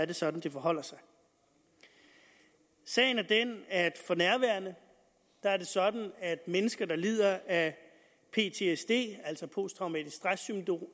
det sådan det forholder sig sagen er den at for nærværende er det sådan at sager mennesker der lider af ptsd altså posttraumatisk stress